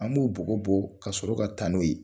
An b'o bugɔ bugɔ ka sɔrɔ ka taa n'o ye.